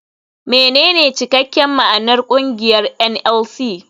Menene cikakken ma'anar kungiyar NLC.